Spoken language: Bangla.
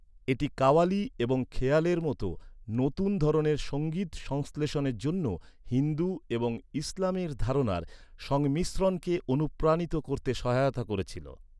এটি কাওয়ালি এবং খেয়ালের মতো নতুন ধরনের সংগীত সংশ্লেষণের জন্য হিন্দু এবং ইসলামের ধারণার সংমিশ্রণকে অনুপ্রাণিত করতে সহায়তা করেছিল।